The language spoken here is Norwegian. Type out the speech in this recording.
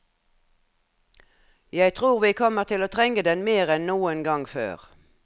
Jeg tror vi kommer til å trenge den mer enn noen gang før.